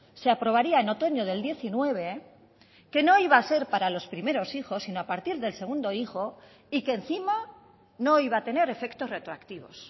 se aprobaría en otoño del diecinueve que no iba a ser para los primeros hijos sino a partir del segundo hijo y que encima no iba a tener efectos retroactivos